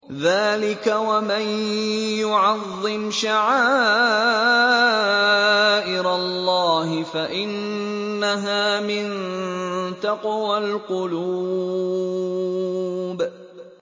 ذَٰلِكَ وَمَن يُعَظِّمْ شَعَائِرَ اللَّهِ فَإِنَّهَا مِن تَقْوَى الْقُلُوبِ